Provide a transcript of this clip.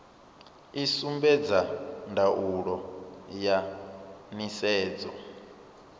i sumbedza ndaulo ya nisedzo